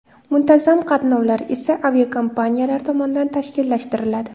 Muntazam qatnovlar esa aviakompaniyalar tomonidan tashkillashtiriladi.